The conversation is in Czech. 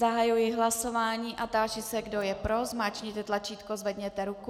Zahajuji hlasování a táži se, kdo je pro, zmáčkněte tlačítko, zvedněte ruku.